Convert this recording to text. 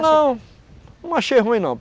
Não. Não achei ruim, não.